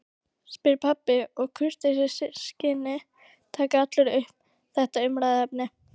spyr pabbi og í kurteisisskyni taka allir upp þetta umræðuefni